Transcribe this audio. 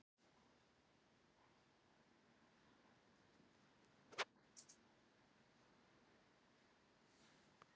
Myndmál hennar er alltaf mjög afdráttarlaust.